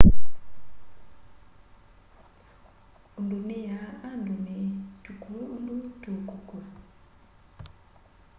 undu niyaa andu ni tukue undu tuukukua